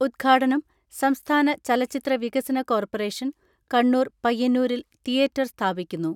ഉദ്ഘാടനം സംസ്ഥാന ചലച്ചിത്ര വികസന കോർപറേഷൻ കണ്ണൂർ പയ്യന്നൂരിൽ തീയേറ്ററർ സ്ഥാപിക്കുന്നു.